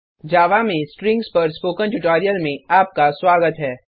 जावा में स्ट्रिंग्स पर spoken tutorial में आपका स्वागत है